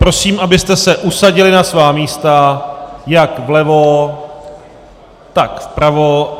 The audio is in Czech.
Prosím, abyste se usadili na svá místa jak vlevo, tak vpravo.